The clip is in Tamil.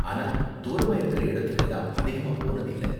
ஆனா தூரமா இருக்குற இடத்துக்குலாம் அதிகமா போனது இல்ல.